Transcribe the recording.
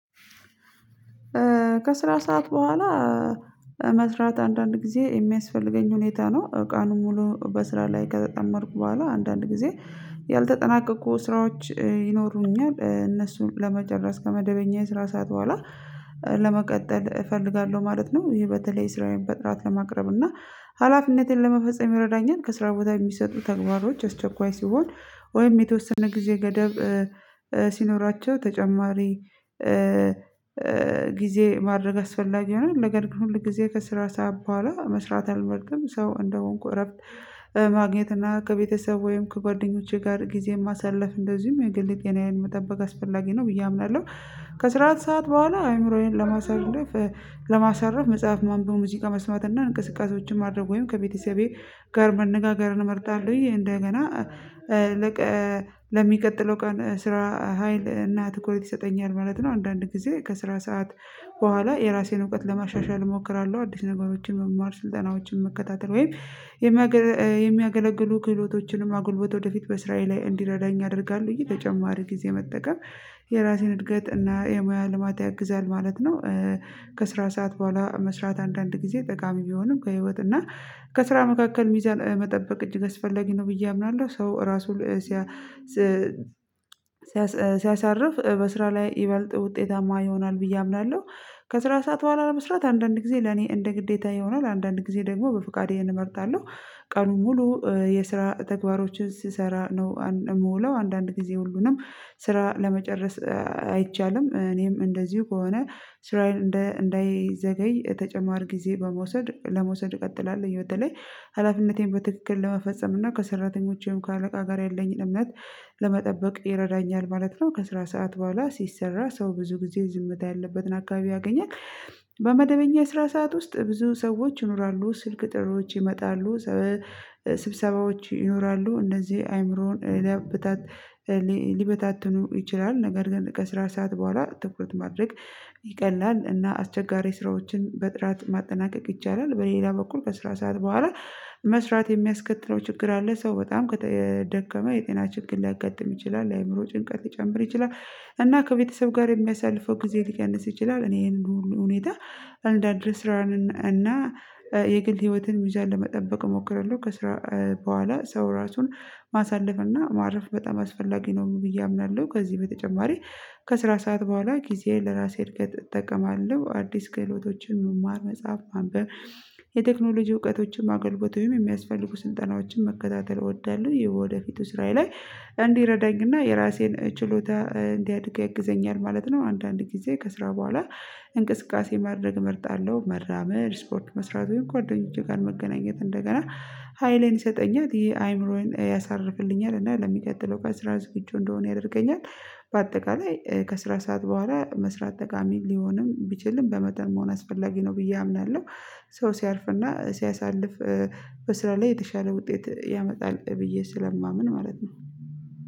ከስራ ሰዓት በኋላ መስራት አንዳንድ ጊዜ ሚያስፈልገኝ ሁኔታ ነው። ቀኑን ሙሉ በስራ ላይ ከተጠመድኩ በኋላ አንዳንድ ጊዜ ያልተጠናቀቁ ስራዎች ይኖሩኛል እነሱን ለመጨረስ ከመደበኛ የስራ ሰዓት በኋላ ለመቀጠል እፈልጋለሁ ማለት ነው። ይህ በተለይ ስራዬን በጥራት ለማቅረብ እና ሀላፊነቴን ለመፈጸም ይረዳኛል። ከስራ ቦታ የሚሰጡ ተግባሮች አስቸኳይ ሲሆን ወይም የተወሰነ ጊዜ ገደብ ሲኖራቸው ተጨማሪ ጊዜ ማድረግ አስፈላጊ ይሆናል። ነገር ግን ሁል ጊዜ ከስራ ሰዓት በኋላ መስራት አልመርጥም። ሰው እንደሆንኩ እረፍት ማግኘት እና ከቤተሰብ ወይም ከጓደኞቼ ጋር ጊዜ ማሳለፍ እንደዚሁም የግል ጤናየን መጠበቅ አስፈላጊ ነው ብዬ አምናለሁ። ከስራት ሰዓት በኋላ አይምሮዬን ለማሳለፍ ለማሳረፍ መጽሐፍ ማንበብ ሙዚቃ መስማት እና እንቅስቃሴዎችን ማድረግ ወይም ከቤተሰቤ ጋር መነጋገር እመርጣለሁኝ። እንደገና ለሚቀጥለው ቀን ስራ ሀይል እና ትኩረት ይሰጠኛል ማለት ነው። አንዳንድ ጊዜ ከስራ ሰዓት በኋላ የራሴን እውቀት ለማሻሻል እሞክራለሁ። አዲስ ነገሮችን መማር ስልጠናዎችን መከታተል ወይም የሚያገለግሉ ክህሎቶችንም ማጎልበት ወደፊት በስራየ ላይ እንዲረዳኝ ያደርጋል። ተጨማሪ ጊዜ መጠቀም የራሴን እድገት እና የሙያ ልማት ያግዛል ማለት ነው። ከስራ ሰዓት በኋላ መስራት አንዳንድ ጊዜ ጠቃሚ ቢሆንም ከህይወት እና ከስራ መካከል ሚዛን መጠበቅ እጅግ አስፈለጊ ነው ብዬ አምናለሁ። ሰው ራሱ ሲያሳርፍ በስራ ላይ ይበልጥ ውጤታማ ይሆናል ብዬ አምናለሁ። ከስራ ሰዓት በኋላ ለመስራት አንዳንድ ጊዜ ለኔ እንደ ግዴታ ይሆናል አንዳንድ ጊዜ ደግሞ በፍቃዴን እመርጣለሁ። ቀኑን ሙሉ የስራ ተግባሮችን ስሰራ ነው የምውለው አንዳንድ ጊዜ ሁሉንም ስራ ለመጨረስ አይቻልም። እኔም እንደዚሁ ከሆነ ስራየን እንዳይዘገይ ተጨማር ጊዜ በመውሰድ ለመውሰድ እቀጥላለሁ በተለይ ሀላፊነቴን በትክክል ለመፈጸም እና ከሰራተኞቼም ከአለቃ ጋር ያለኝ እምነት ለመጠበቅ ይረዳኛል ማለት ነው። ከስራ ሰዓት በኋላ ሲሰራ ሰው ብዙ ጊዜ ዝምታ ያለበትን አካባቢ ያገኛል። በመደበኛ የስራ ሰዓት ውስጥ ብዙ ሰዎች ይኖራሉ ስልክ ጥሪዎች ይመጣሉ። ስብሰባዎች ይኖራሉ እነዚህ አይምሮን ሊበታትኑ ይችላል። ነገር ግን ከስራ ሰዓት በኋላ ትኩረት ማድረግ ይቀላል እና አስቸጋሪ ስራዎችን በጥራት ማጠናቀቅ ይቻላል። በሌላ በኩል ከስራ ሰዓት በኋላ መስራት የሚያስከትለው ችግር አለ ሰው በጣም ከተደከመ የጤና ችግር ሊያጋጥም ይችላል የአይምሮ ጭንቀት ሊጨምር ይችላል። እና ከቤተሰብ ጋር የሚያሳልፈው ጊዜ ሊቀንስ ይችላል። እኔ ይሄንን ሁኔታ አንዳንድ ስራን እና የግል ህይወትን ምዛን ለመጠበቅ እሞክራለሁ። ከስራ በኋላ ሰው ራሱን ማሳለፍ እና ማረፍ በጣም አስፈላጊ ነው ብዬ አምናለሁ። ከዚህ በተጨማሪ ከስራ ሰዓት በኋላ ጊዜን ለራሴ እድገት እጠቀማለሁ አዲስ ክህሎቶችን መማር መጽሐፍ ማንበብ የቴክኖሎጂ እውቀቶችን ማገልግሎት የሚያስፈልጉ ስልጠናዎችን መከታተል እወዳለሁ። የወደፊቱ ስራዬ ላይ እንዲረዳኝና የራሴን ችሎታ እንዲያድግ ያግዘኛል ማለት ነው። አንዳንድ ጊዜ ከስራ በኋላ እንቅስቃሴ ማድረግ መርጣለሁ መራመድ ስፖርት መስራት ወይም ጓደኞቼ ጋር መገናኘት እንደገና ሀይሌን ይሰጠኛል። ይሄ አይምሮዬን ያሳርፍልኛል እና ለሚቀጥለው ቀን ስራ ዝግጁ እንድሆን ያደርገኛል። በአጠቃላይ ከስራ ሰዓት በኋላ መስራት ጠቃሚ ሊሆንም ቢችልም በመጠን መሆን አስፈላጊ ነው ብዬ አምናለሁ። ሰው ሲያርፍና ሲያሳልፍ በስራ ላይ የተሻለ ውጤት ያመጣል ብዬ ስለማምን ማለት ነው